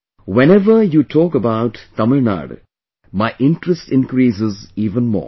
"Whenever you talk about Tamil Nadu, my interest increases even more